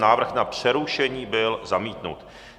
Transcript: Návrh na přerušení byl zamítnut.